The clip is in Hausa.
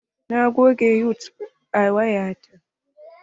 Na goge yutub a waya ta.